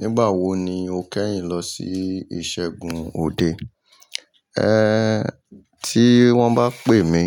Nígbà wo ni o kẹ́yìn lọ sí ìṣẹ́gun òde? En, tí wọ́n bá pè mí